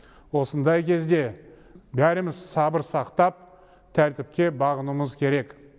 осындай кезде бәріміз сабыр сақтап тәртіпке бағынуымыз керек